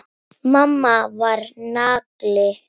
Mamma var nagli.